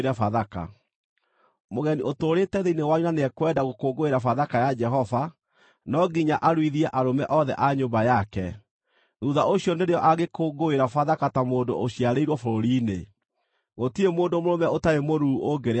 “Mũgeni ũtũũrĩte thĩinĩ wanyu na nĩekwenda gũkũngũĩra Bathaka ya Jehova, no nginya aruithie arũme othe a nyũmba yake; thuutha ũcio nĩrĩo angĩkũngũĩra Bathaka ta mũndũ ũciarĩirwo bũrũri-inĩ. Gũtirĩ mũndũ mũrũme ũtarĩ mũruu ũngĩrĩa Bathaka.